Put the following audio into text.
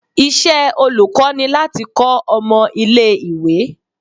Iṣẹ́ olùkọ́ ni láti kọ́ ọmọ ilé ìwé.